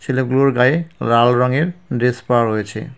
ছেলেগুলোর গায়ে লাল রঙের ড্রেস পরা রয়েছে।